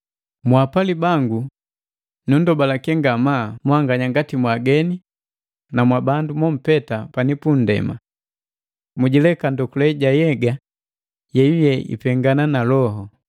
Mwaapali bangu, nundobaleke ngamaa mwanganya ngati mwaageni na mwabandu mompeta pani pundema! Mwijileka ndokule ja nhyega yeyuye ipengana na loho.